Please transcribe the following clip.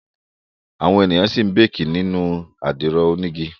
Àwọn èèyàn ṣì ń béèkì nínú àdìro onígi